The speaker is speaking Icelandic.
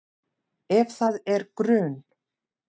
Ef það er grun